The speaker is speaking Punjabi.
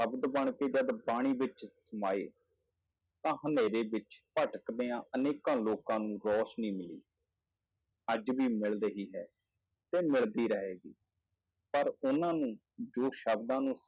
ਸ਼ਬਦ ਬਣ ਕੇ ਜਦ ਬਾਣੀ ਵਿੱਚ ਸਮਾਏ ਤਾਂ ਹਨੇਰੇ ਵਿੱਚ ਭਟਕਦਿਆਂ ਅਨੇਕਾਂ ਲੋਕਾਂ ਨੂੰ ਰੋਸ਼ਨੀ ਮਿਲੀ ਅੱਜ ਵੀ ਮਿਲ ਰਹੀ ਹੈ ਤੇ ਮਿਲਦੀ ਰਹੇਗੀ, ਪਰ ਉਹਨਾਂ ਨੂੰ ਜੋ ਸ਼ਬਦਾਂ ਨੂੰ